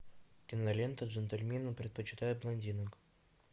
кинолента джентльмены предпочитают блондинок